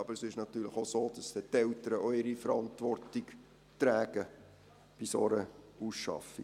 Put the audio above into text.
Aber es ist natürlich auch so, dass dann die Eltern auch ihre Verantwortung tragen bei einer Ausschaffung.